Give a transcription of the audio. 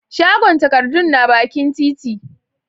shagon takardun na bakin titi